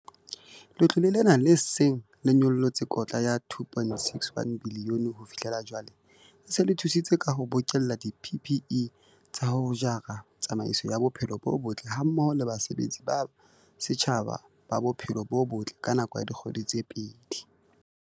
Letlole lena, le seng le nyollotse kotla ya R2.61 bilione ho fihlela jwale, le se le thusitse ka ho bokella di-PPE tsa ho jara tsamaiso ya bophelo bo botle hammoho le basebeletsi ba setjhaba ba bophelo bo botle ka nako ya dikgwedi tse pedi.